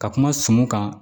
Ka kuma sumun kan